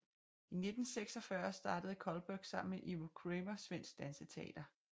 I 1946 startede Cullberg sammen med Ivo Cramér Svensk Danseteater